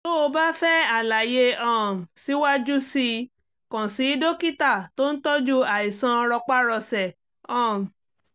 tó o bá fẹ́ àlàyé um síwájú sí i kàn sí dókítà tó ń tọ́jú àìsàn rọpárọsẹ̀ um